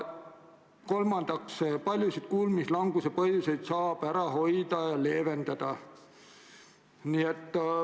Üldse paljusid kuulmislanguse põhjuseid saab ära hoida ja leevendada.